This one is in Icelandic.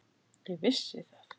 Ég vissi það.